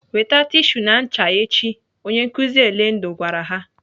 "Weta tishu na ncha echi!" Onye nkụzi Elendu gwara ha.